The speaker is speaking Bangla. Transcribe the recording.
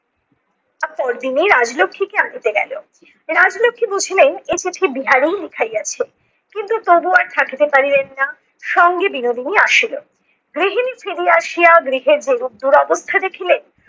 তার পর দিনই রাজলক্ষীকে আনিতে গেলো। রাজলক্ষী বুঝিলেন এ চিঠি বিহারীই লিখাইয়াছে। কিন্তু তবুও আর থাকিতে পারিলেন না, সঙ্গে বিনোদিনী আসিলো। গৃহিনী ফিরি আসিয়া গৃহের দুরো~ দুরবস্থা দেখিলেন।